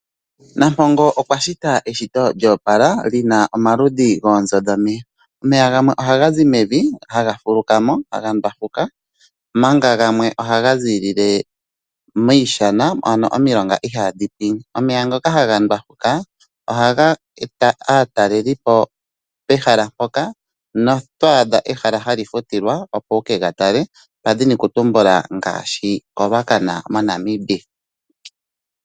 Nampongo okwa shita eshito lyoopala li na omaludhi goonzo dhomeya. Omeya gamwe ohaga zi mevi haga fuluka mo, haga ndwafuka omanga gamwe ohaga ziilile miishana ano momilonga ndhoka ihaadhi pwine. Omeya ngoka haga ndwafuka ohaga eta aatalelipo pehala mpoka notwaadha ehala hali futilwa opo wu kega tale nda dhini okutumbula ngaashi Ruacana noNamibia.